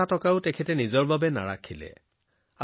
এটকাও তেওঁ নিজৰ মাজতে ৰাখিব পৰা নাছিল